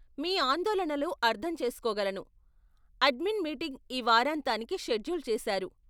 మీ ఆందోళనలు అర్ధం చేసుకోగలను, అడ్మిన్ మీటింగ్ ఈ వారాంతానికి షెడ్యూల్ చేసారు.